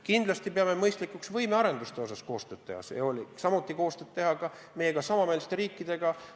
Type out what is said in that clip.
Kindlasti peame mõistlikuks võimearendusel koostööd teha, ja seda kõikide meiega samameelsete riikidega.